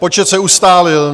Počet se ustálil.